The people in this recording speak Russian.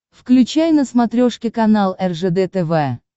включай на смотрешке канал ржд тв